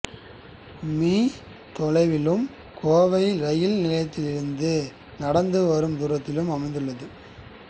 me தொலைவிலும் Kovai rail நிலையத்திலிருந்து நடந்து வரும் தூரத்திலும் அமைந்துள்ளது